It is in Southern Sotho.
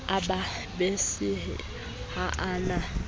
a bapisehe ha a na